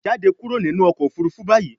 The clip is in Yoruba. jáde kúrò nínú ọkọ̀ òfurufú bayí